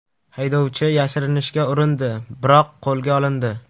Haydovchi yashirinishga urindi, biroq qo‘lga olindi.